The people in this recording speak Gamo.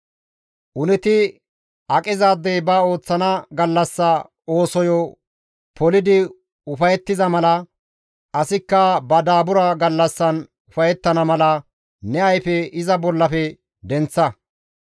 Uneti aqizaadey ba ooththana gallassa oosoyo polidi ufayettiza mala, asikka ba daabura gallassan ufayettana mala ne ayfe iza bollafe denththa.